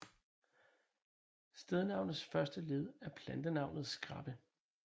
Stednavnets første led er plantenavnet skræppe